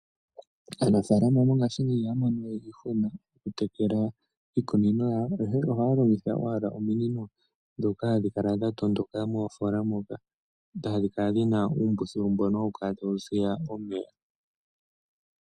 Aanafalama mongashingeyi ihaya mono we iihuna, okutekela iimeno yawo ihe ohaya longitha owala ominino ndhoka hadhi kala, dhatondoka moofola moka hadhi kala dhina uumbuthulu mboka hawu piti omeya.